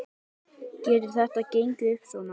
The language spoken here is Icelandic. Magnús Hlynur Hreiðarsson: Getur þetta gengið upp svona?